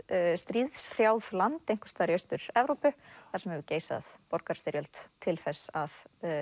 stríðshrjáð land einhvers staðar í Austur Evrópu þar sem hefur geisað borgarastyrjöld til þess að